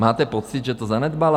Máte pocit, že to zanedbala?